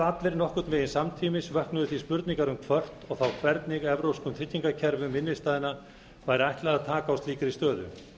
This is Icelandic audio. allir nokkurn veginn samtímis vöknuðu því spurningar um hvort og þá hvernig evrópskum tryggingakerfum innstæðna væri ætlað að taka á slíkri stöðu